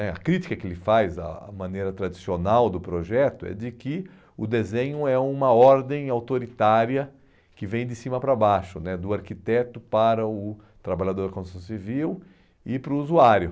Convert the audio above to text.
é, a crítica que ele faz, a a maneira tradicional do projeto, é de que o desenho é uma ordem autoritária que vem de cima para baixo né, do arquiteto para o o trabalhador de construção civil e para o usuário.